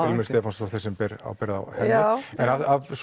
ilmur Stefáns sem ber ábyrgð á henni af